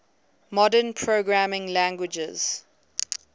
modern programming languages